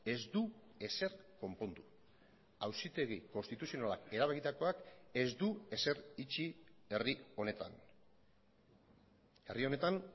ez du ezer konpondu auzitegi konstituzionalak erabakitakoak ez du ezer itxi herri honetan herri honetan